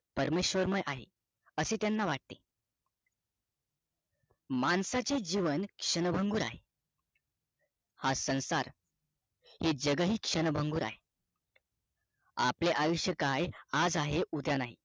पारमेश्वरमय आहे असे त्यांना वाटते माणसाचे जीवन क्षणभंगुर आहे हा संसार हे जगहि क्षणभंगुर आहे आपले आयुष्य काय आज आहे उद्या नाही